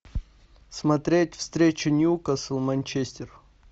смотреть встречу ньюкасл манчестер